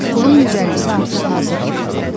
Pulun 150-si artıq hazır idi.